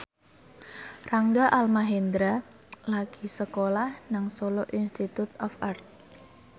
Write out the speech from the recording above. Rangga Almahendra lagi sekolah nang Solo Institute of Art